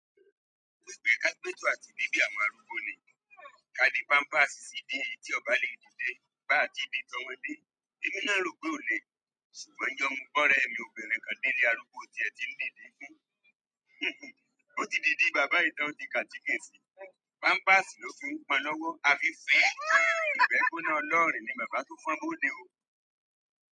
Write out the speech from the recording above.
Gbogbo ẹgbẹ́ agbẹjọ́ro àti bíbí àwọn arúgbó ni. Ka ni pampers sídí èyí tí o ba lè dìde bá à ti ń di tọ́mọ́dé. Èmi náà ló gbé òle, ṣùgbọ́n yàn mú bọ́rẹ́ mi obìnrin kan nílé arúgbó tí ẹ ti ń dìde fún. Ó ti di dí bàbá ìtàn ti kàkìn sí, pampers ló fi ń pọn lọ́wọ́. A fi fún. Ìbẹ́ kúnà ọlọ́rìn ni bàbá tó fún un bóde o.